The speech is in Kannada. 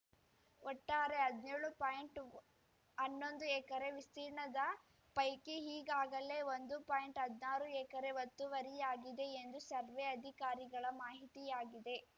ಒಟ್ಟಾರೆ ಹದ್ನ್ಯೋಳುಪಾಯಿಂಟ್ ಅನ್ನೊಂದು ಎಕರೆ ವಿಸ್ತೀರ್ಣದ ಪೈಕಿ ಈಗಾಗಲೇ ಒಂದು ಪಾಯಿಂಟ್ಹದ್ನಾರು ಎಕರೆ ಒತ್ತುವರಿಯಾಗಿದೆ ಎಂದು ಸರ್ವೆ ಅಧಿಕಾರಿಗಳ ಮಾಹಿತಿಯಾಗಿದೆ